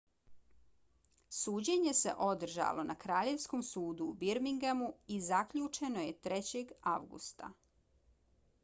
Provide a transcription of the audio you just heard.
suđenje se održalo na kraljevskom sudu u birminghamu i zaključeno je 3. avgusta